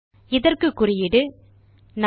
இதற்கு குறியீடு 4